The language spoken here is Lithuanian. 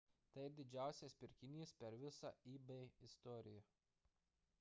tai didžiausias pirkinys per visą ebay istoriją